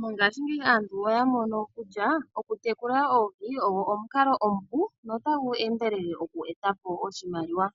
Mongaashingeyi aantu oya mono kutya oku tekula oohi ogo omukalo omupu notagu endelele oku eta po oshimaliwa.